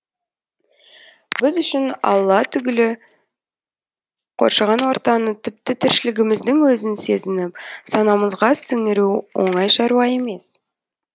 біз үшін алла түгілі қоршаған ортаны тіпті тіршілігіміздің өзін сезініп санамызға сіңіру оңай шаруа емес